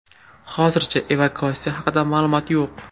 Hozircha evakuatsiya haqida ma’lumot yo‘q.